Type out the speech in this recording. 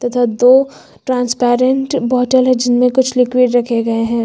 इधर दो transparent bottle है जिनमें कुछ लिक्विड रखे गए हैं।